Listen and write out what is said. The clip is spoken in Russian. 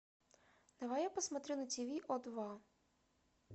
давай я посмотрю на тиви о два